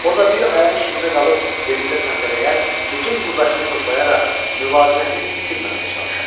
O da bir ayağı üstündə qalıb yerində səndələyər, bütün qüvvəsini toplayaraq müvaziniyyətini itirməməyə çalışardı.